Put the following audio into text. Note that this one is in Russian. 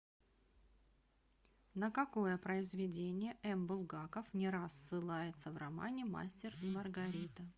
на какое произведение м булгаков не раз ссылается в романе мастер и маргарита